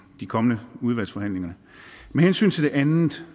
kommende udvalgsforhandlinger med hensyn til det andet